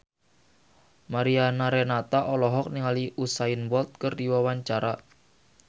Mariana Renata olohok ningali Usain Bolt keur diwawancara